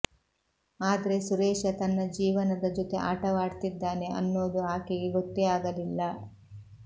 ಆದ್ರೆ ಸುರೇಶ ತನ್ನ ಜೀವನದ ಜೊತೆ ಆಟವಾಡ್ತಿದ್ದಾನೆ ಅನ್ನೋದು ಆಕೆಗೆ ಗೊತ್ತೇ ಆಗಲಿಲ್ಲ